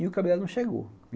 E o cabeleireiro dela não chegou.